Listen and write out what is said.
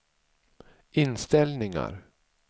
inställningar